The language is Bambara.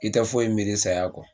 I tɛ foyi miiri saya kɔ